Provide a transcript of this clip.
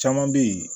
Caman bɛ yen